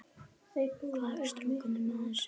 Hvar skráir maður sig?